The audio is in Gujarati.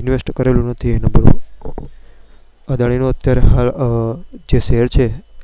invest કરેલું નથી.